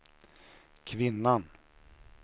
kvinnan